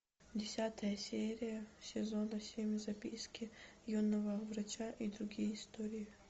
десятая серия сезона семь записки юного врача и другие истории